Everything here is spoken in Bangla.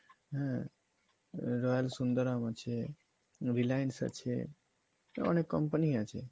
হ্যাঁ Royal Sundaram আছে Reliance আছে অনেক company ই আছে।